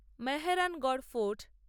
Mehrangarh fort